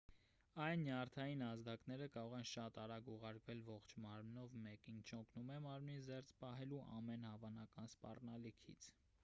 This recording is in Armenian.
այս նյարդային ազդակները կարող են շատ արագ ուղարկվել ողջ մարմնով մեկ ինչն օգնում է մարմնին զերծ պահելու ամեն հավանական սպառնալիքից